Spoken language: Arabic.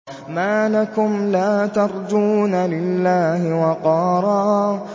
مَّا لَكُمْ لَا تَرْجُونَ لِلَّهِ وَقَارًا